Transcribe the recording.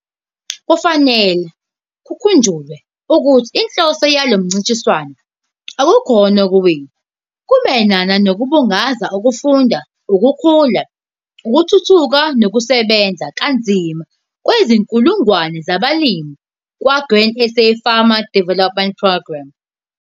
Kufanele kukhunjulwe ukuthi inhloso yalo mncintiswano akukhona ukuwina, kumayelana nokubungaza ukufunda, ukukhula, ukuthuthuka nokusebenza kanzima kwezinkulungwane zabalimi kwa-Grain SA Farmer Development Programme.